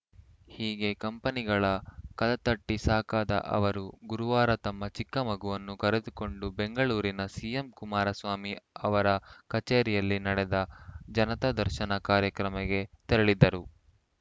ಹೀಗೆ ಕಂಪನಿಗಳ ಕದತಟ್ಟಿಸಾಕಾದ ಅವರು ಗುರುವಾರ ತಮ್ಮ ಚಿಕ್ಕ ಮಗುವನ್ನು ಕರೆದುಕೊಂಡು ಬೆಂಗಳೂರಿನ ಸಿಎಂ ಕುಮಾರಸ್ವಾಮಿ ಅವರ ಕಚೇರಿಯಲ್ಲಿ ನಡೆದ ಜನತಾ ದರ್ಶನ ಕಾರ್ಯಕ್ರಮಕ್ಕೆ ತೆರಳಿದ್ದರು